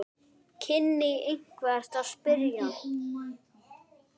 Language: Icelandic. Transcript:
kynni einhver að spyrja.